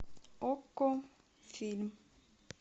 окко фильм